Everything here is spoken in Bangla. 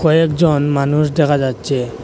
কয়েকজন মানুষ দেখা যাচ্ছে।